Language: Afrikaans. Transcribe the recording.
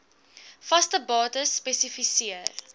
vaste bates spesifiseer